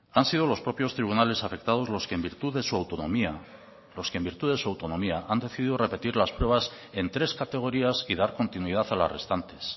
han sido los propios tribunales afectados los que en virtud de su autonomía los que en virtud de su autonomía han decidido repetir las pruebas en tres categorías y dar continuidad a las restantes